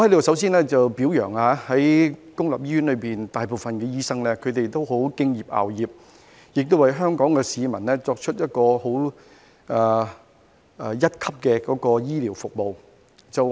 首先，我在此表揚公立醫院內的大部分醫生，他們十分敬業樂業，為香港市民提供一流的醫療服務。